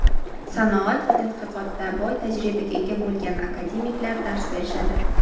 sanoat va tadqiqotda boy tajribaga ega bo‘lgan akademiklar dars berishadi.